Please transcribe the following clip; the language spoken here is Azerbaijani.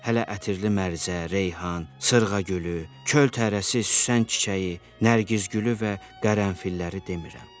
Hələ ətirli mərzə, reyhan, sırğa gülü, çöl tərəsi, süsən çiçəyi, nərgiz gülü və qərənfilləri demirəm.